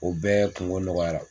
O bɛɛ kungo nɔgɔyara